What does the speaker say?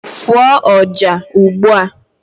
fụọ ọjà ugbu a!